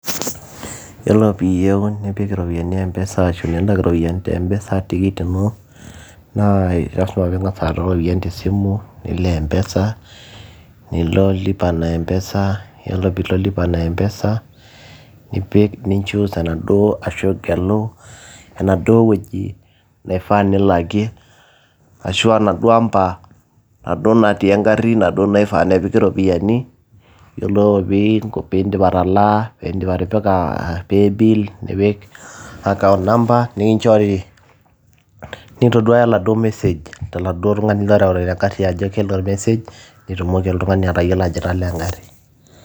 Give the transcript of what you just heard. yiolo piiyieu nipik iropiyiani mpesa ashu nilak iropiyiani te mpesa tikit ino naa lasima piing'as aata iropiyiani tesimu nilo mpesa nilo lipa na mpesa yiolo piilo [ccs]lipa na mpesa nipik ninchus enaduo ashu igelu enaduo wueji naifaa nilakie ashua naduo amba naduo natii engarri naduo naifaa nepiki iropiyiani yiolo piindip atalaa pindip atipika paybill nipik account number nikinchori nintoduaya oladuo message toladuo tung'ani loreuta ina garri ajo kele ormesej nitumoki oltung'ani atayiolo ajo italaa engarri.